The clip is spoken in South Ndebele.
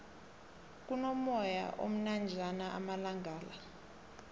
kuno moyana omnanjana amalangala